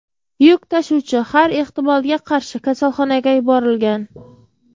Yuk tashuvchi har ehtimolga qarshi kasalxonaga yuborilgan.